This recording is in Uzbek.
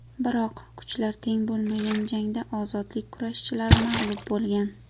Biroq kuchlar teng bo‘lmagan jangda ozodlik kurashchilari mag‘lub bo‘lgan.